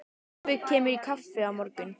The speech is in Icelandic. Afi kemur í kaffi á morgun.